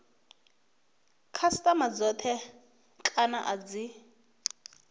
khasitama dzothe kana a dzi